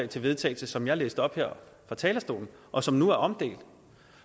til vedtagelse som jeg læste op fra talerstolen og som nu er omdelt